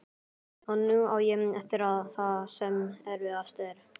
Og nú á ég eftir það sem erfiðast er.